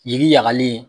Yiri ɲagalen